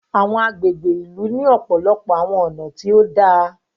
Awọn agbègbè ìlú ni ọpọlọpọ awọn ọna tí òdà